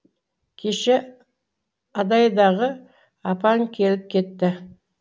кеше адайдағы апаң келіп кетті